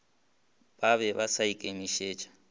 ba be ba sa ikemišetša